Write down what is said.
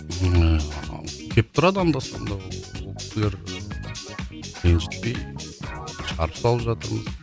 ыыы келіп тұрады анда санда ренжітпей шығарып салып жатырмыз